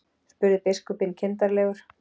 spurði biskupinn kindarlegur.